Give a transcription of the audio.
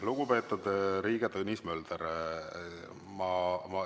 Lugupeetud Riigikogu liige Tõnis Mölder!